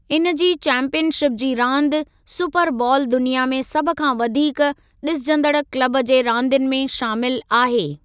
इन जे चैंपीयनशिप जी रांदि सुपर बॉल दुनिया में सभ खां वधीक ॾिसजंदड़ क्लब जे रांदियुनि में शामिलु आहे।